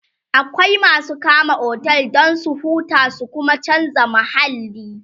akwai masu kama otel Dan su huta su Kuma chanza mahalli